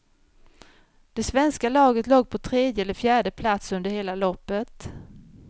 Det svenska laget låg på tredje eller fjärde plats under hela loppet.